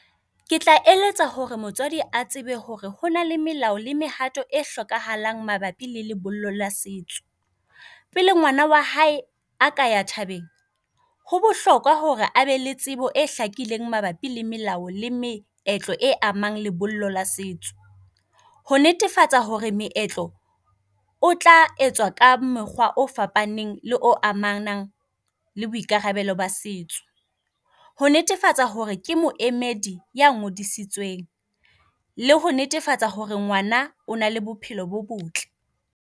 Ke tla eletsa hore motswadi a tsebe hore hona le melao le mehato e hlokahalang mabapi le lebollo la setso. Pele ngwana wa hae a ka ea thabeng. Ho bohlokwa hore abe le tsebo e hlakileng mabapi le melao le meetlo e amang lebollo la setso. Ho netefatsa hore meetlo o tla etswa ka mokgwa o fapaneng le o amanang le boikarabelo ba setso. Ho netefatsa hore ke moemedi ya ngodisitsweng le ho netefatsa hore ngwana o na le bophelo bo botle.